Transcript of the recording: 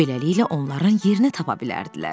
Beləliklə onların yerini tapa bilərdilər.